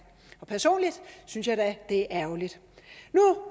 personligt synes jeg da det er ærgerligt nu